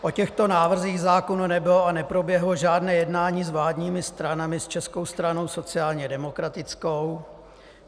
O těchto návrzích zákonů nebylo a neproběhlo žádné jednání s vládními stranami s Českou stranou sociálně demokratickou.